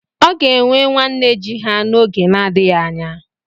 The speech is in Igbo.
Ọ ga-enwe nwa nne ji ha n'oge na-adịghị anya.